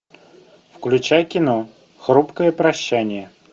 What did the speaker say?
включай кино хрупкое прощание